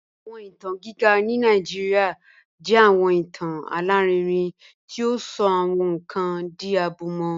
Awọn itan giga ni Nigeria jẹ awọn itan alarinrin ti o sọ awọn nkan di abumọ